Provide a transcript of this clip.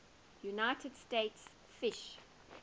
united states fish